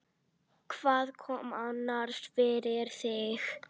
Hvað kom annars fyrir þig?